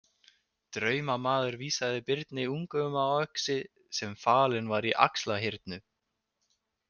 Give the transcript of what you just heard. Draumamaður vísaði Birni ungum á öxi sem falinn var í Axlarhyrnu.